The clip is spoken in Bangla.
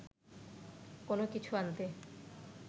কোনো কিছু আনতে